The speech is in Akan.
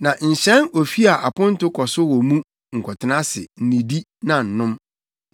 “Na nhyɛn ofi a aponto kɔ so wɔ mu nkɔtena ase, nnidi na nnom.